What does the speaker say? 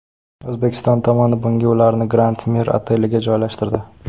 O‘zbekiston tomoni bunda ularni Grand Mir oteliga joylashtirdi.